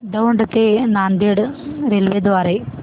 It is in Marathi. दौंड ते नांदेड रेल्वे द्वारे